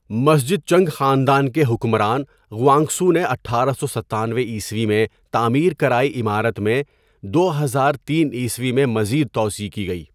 مسجد Qing خاندان کے حکمران غوانغکسو نے اٹھارہ سو ستانوے عیسوی میں تعمیر کرائی عمارت میں دو پزار تین عیسوی میں مزید توسیع کی گئی.